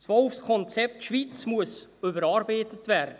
Das Konzept Wolf Schweiz muss überarbeitet werden.